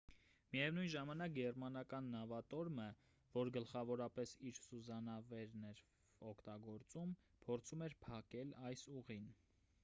միևնույն ժամանակ գերմանական նավատորմը որ գլխավորապես իր սուզանավերն էր օգտագործում փորձում էր փակել այս ուղին